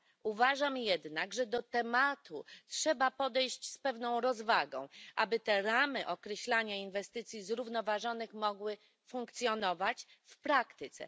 Uważam jednak, że do tematu trzeba podejść z pewną rozwagą, aby te ramy określania inwestycji zrównoważonych mogły funkcjonować w praktyce.